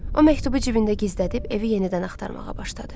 O məktubu cibində gizlədib evi yenidən axtarmağa başladı.